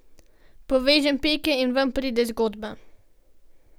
Povežem pike in ven pride zgodba.